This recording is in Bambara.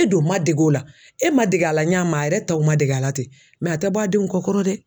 E don man dege o la e man dege a la ɲa min ma a yɛrɛ taw man dege a la ten a tɛ bɔ a denw kɔkɔrɔ dɛ.